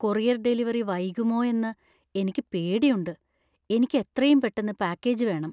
Courier delivery വൈകുമോയെന്നു എനിക്ക് പേടിയുണ്ട്, എനിക്ക് എത്രയും പെട്ടന്ന് പാക്കേജ് വേണം.